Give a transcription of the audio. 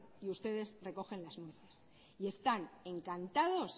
y ustedes recogen las nueces y están encantados